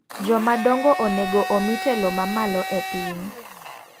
Joma dongo onego omi telo mamalo e piny.